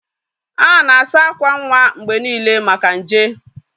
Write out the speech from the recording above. A na-asa akwa nwa mgbe niile maka nje.